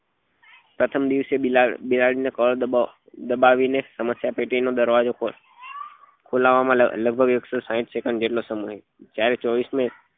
પ્રથમ દિવસે કળ દબ દબાવી ને સમસ્યા પેટી નો દરવાજો ખોલાવવા માં લગભગ એકસો સાહીંઠ second જેટલો સમય જ્યારે ચોવીસમાં